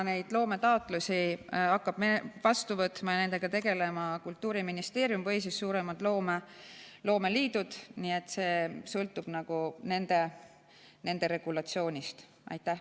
Neid loometaotlusi hakkavad vastu võtma ja nendega tegelema Kultuuriministeerium või suuremad loomeliidud, nii et kõik sõltub nende regulatsioonist.